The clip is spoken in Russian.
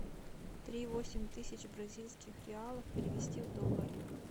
три восемь тысяч бразильских реалов перевести в доллары